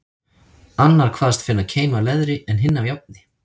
Annar kvaðst finna keim af leðri, en hinn af járni.